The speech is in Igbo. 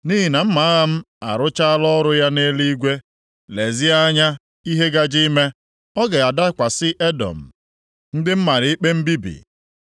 Nʼihi na mma agha m arụchaala ọrụ ya nʼeluigwe, lezie anya ihe gaje ime, ọ ga-adakwasị Edọm, ndị m mara ikpe mbibi.